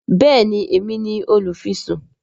béèni Èmi ní olufisun.